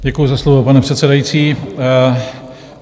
Děkuji za slovo, pane předsedající.